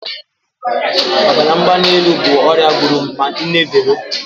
Ọbara mgbali elu bụ ọrịa gburu nne Vero.